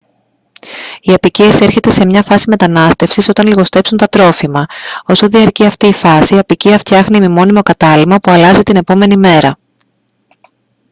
η αποικία εισέρχεται σε μια φάση μετανάστευσης όταν λιγοστέψουν τα τρόφιμα όσο διαρκεί αυτή η φάση η αποικία φτιάχνει ημιμόνιμο κατάλυμμα που αλλάζει την επόμενη μέρα